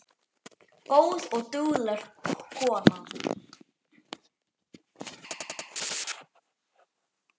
Góð og dugleg kona